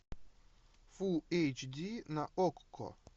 фул эйч ди на окко